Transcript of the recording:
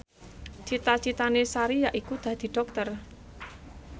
cita citane Sari yaiku dadi dokter